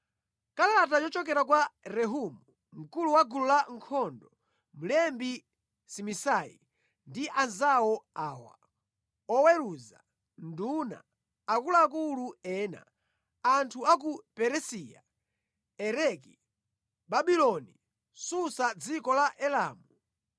Kalata yochokera kwa Rehumu, mkulu wa gulu lankhondo, mlembi Simisai ndi anzawo awa: oweruza, nduna, akuluakulu ena, anthu a ku Peresiya, Ereki, Babuloni, Susa mʼdziko la Elamu,